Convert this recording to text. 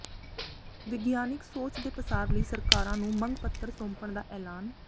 ਵਿਗਿਆਨਿਕ ਸੋਚ ਦੇ ਪਸਾਰ ਲਈ ਸਰਕਾਰਾਂ ਨੂੰ ਮੰਗ ਪੱਤਰ ਸੌਂਪਣ ਦਾ ਐਲਾਨ